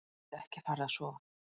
Gæti ekki farið að sofa.